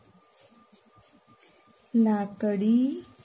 લાકડી